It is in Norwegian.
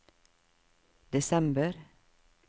desember